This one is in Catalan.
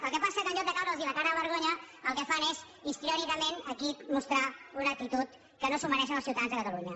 el que passa que en lloc de caure’ls la cara de vergonya el que fan és histriònicament aquí mostrar una actitud que no se la mereixen els ciutadans de catalunya